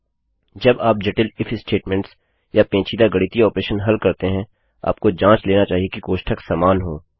जब आप जटिल इफ statementsस्टेटमेंट्स या पेंचीदा गणितीय ऑपरेशन हल करते हैं आपको जाँच लेना चाहिए कि कोष्ठक समान हों